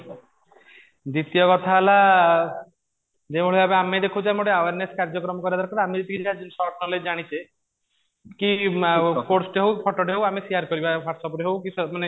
ଦ୍ଵିତୀୟ କଥା ହେଲା ଯେଉଁ ଭଳି ଭାବେ ଆମେ ଦେଖୁଚୁ ଆମେ ଗୋଟେ awareness କାର୍ଯ୍ୟକ୍ରମ କରିବା ଦରକାର ଆମେ ଯାହା ଯେତିକି short knowledge ଜାଣିଛେ କି ହଉ ଫୋଟୋ ଟେ ହଉ ଆମେ share କରିବା whats app ରେ ହଉ ମାନେ